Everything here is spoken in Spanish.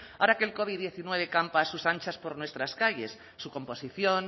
ahora que el covid diecinueve campa a sus anchas por nuestras calles su composición